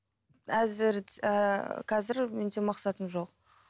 әзір ііі қазір менде мақсатым жоқ